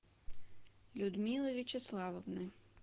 людмилы вячеславовны